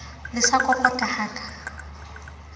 le sa kokota ha ka